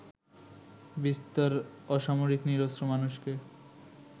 বিস্তর অসামরিক নিরস্ত্র মানুষকে